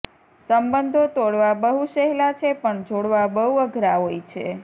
સંબંધો તોડવા બહુ સહેલા છે પણ જોડવા અઘરા હોય છે